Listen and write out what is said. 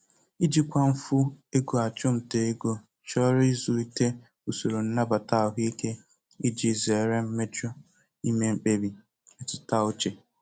Ijikwa mfu ego achụmnta ego chọrọ ịzụlite usoro nnabata ahụike iji zere mmejọ ime mkpebi mmetụta uche.